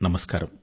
నమస్కారం